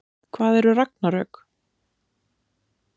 Hvað eru ragnarök?